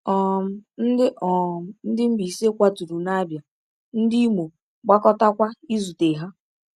um Ndị um Ndị Mbaise kwaturu n’Abia, ndị Imo gbakọtakwa izute ha.